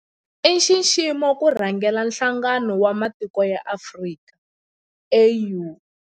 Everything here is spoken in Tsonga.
I nxiximo ku rhangela Nhlangano wa Matiko ya Afrika, AU.